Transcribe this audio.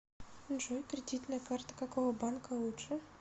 джой кредитная карта какого банка лучше